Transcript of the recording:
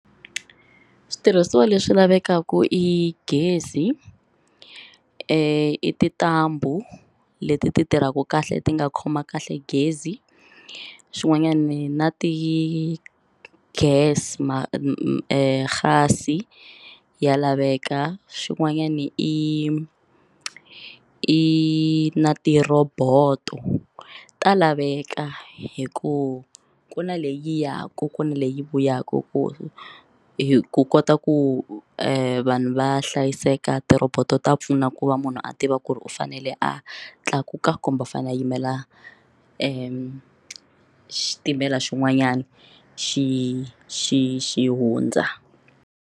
Switirhisiwa leswi lavekaku i gezi i tintambu leti ti tirhaka kahle ti nga khoma kahle gezi swin'wanyani na ti gas gas ya laveka swin'wanyana i i na ti roboto ta laveka hikuva ku na leya kokwana leyi vuyaka ku hi ku kota ku vanhu va hlayiseka ti roboto ta pfuna ku va munhu a tiva ku ri u fanele a tlakuka kumbe u fanele a yimela ku xitimela xin'wanyana xi xi xi hundza.